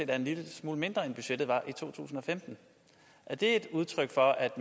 er en lille smule mindre end budgettet var i 2015 er det et udtryk for at